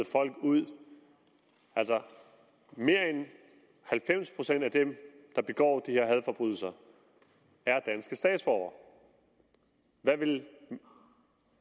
folk ud altså mere end halvfems procent af dem der begår de her hadforbrydelser er danske statsborgere hvad vil